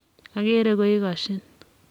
Ageere ko ikgosyin.